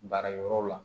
Baara yɔrɔ la